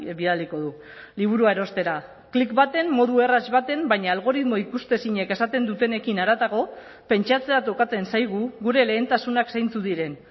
bidaliko du liburua erostera klik batean modu erraz batean baina algoritmo ikusezinek esaten dutenekin haratago pentsatzea tokatzen zaigu gure lehentasunak zeintzuk diren